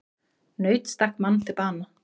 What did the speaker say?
Naut stakk mann til bana